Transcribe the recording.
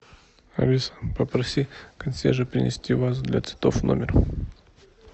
алиса попроси консьержа принести вазу для цветов в номер